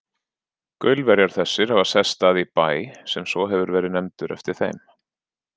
Gaulverjar þessir hafa sest að í Bæ, sem svo hefur verið nefndur eftir þeim.